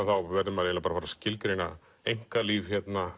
verði maður að skilgreina einkalíf